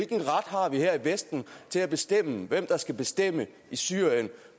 vi her i vesten til at bestemme hvem der skal bestemme i syrien